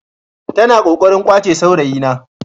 Tana kokarin kwace saurayina.